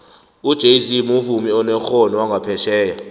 ujayz muvumi onekgono wanqaphetjheya